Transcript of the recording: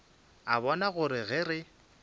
a bona gore ge re